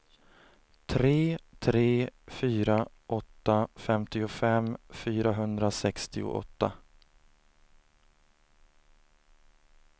tre tre fyra åtta femtiofem fyrahundrasextioåtta